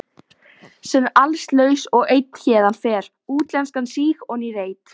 Senn allslaus og einn héðan fer, útlenskan síg oní reit.